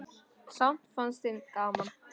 Samt fannst þeim gaman.